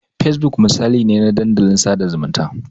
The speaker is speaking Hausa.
Fesbuk misali ne na dandalin sada zumunta.